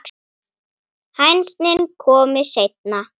Heldur betur, lagsi